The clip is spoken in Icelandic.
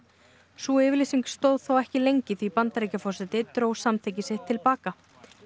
sú yfirlýsing stóð ekki lengi því Bandaríkjaforseti dró samþykki sitt til baka